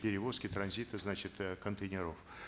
перевозки транзита значит э контейнеров